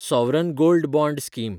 sovereign gold bond scheme